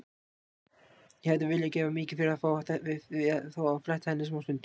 Ég hefði viljað gefa mikið fyrir að fá að fletta henni smástund.